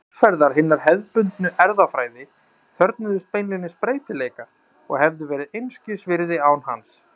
Aðferðir hinnar hefðbundnu erfðafræði þörfnuðust beinlínis breytileika og hefðu verið einskis virði án hans.